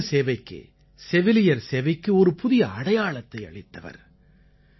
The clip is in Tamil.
இவர் மனித சேவைக்கு செவிலியர் சேவைக்கு ஒரு புதிய அடையாளத்தை அளித்தவர்